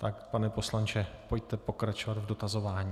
Tak, pane poslanče, pojďte pokračovat v dotazování.